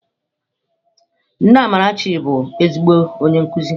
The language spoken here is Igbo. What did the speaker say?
Nne Amarachi bụ ezigbo onye nkuzi.